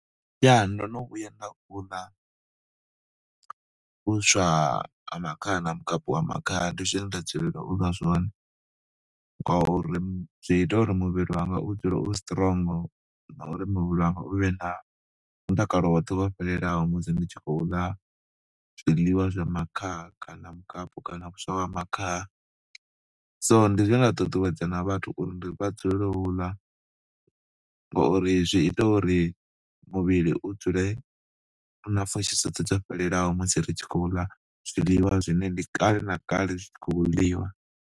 Ya ndo no vhuya nda u ḽa vhuswa ha makhaha na mukapu wa makhaha, ndi zwine nda dzulela u ḽa zwone ngauri zwi ita uri muvhili wanga u dzule u strong na uri muvhili wanga u vhe na mutakalo woṱhe wo fhelelaho musi ndi tshi khou ḽa zwiḽiwa zwa makhaha kana mukapu kana vhuswa ha makhaha. So ndi zwine nda ṱuṱuwedza na vhathu uri vha dzulele u ḽa ngori zwi ita uri muvhili u dzule u na pfhushi dzoṱhe dzo fhelelaho musi ri tshi khou ḽa zwiḽiwa zwine ndi kale na kale zwi khou ḽiwa.